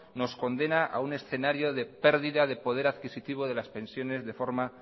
nos condena a un escenario de pérdida del poder adquisitivo de las pensiones de forma